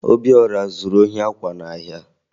Obiọra zuru ohi akwa n'ahịa